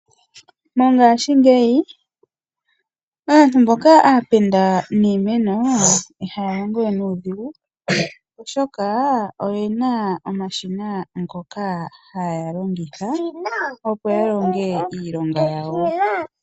Mongashingeyi aantu mboka aapenda niimeno iha ya longo we nudhigu oshoka oyena omashina ngoka haya longitha po ya longe iilonga yawo.